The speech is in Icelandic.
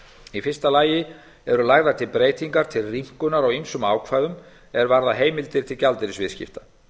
í fyrsta lagi eru lagðar til breytingar til rýmkunar á ýmsum ákvæðum er varða heimildir til gjaldeyrisviðskipta